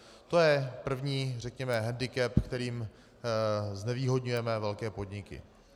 To je první řekněme hendikep, kterým znevýhodňujeme velké podniky.